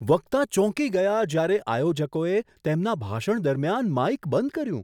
વક્તા ચોંકી ગયા જ્યારે આયોજકોએ તેમના ભાષણ દરમિયાન માઈક બંધ કર્યું.